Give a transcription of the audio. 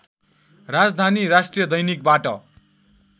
राजधानी राष्ट्रिय दैनिकबाट